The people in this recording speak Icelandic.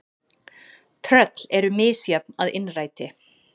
. Tröll eru misjöfn að innræti.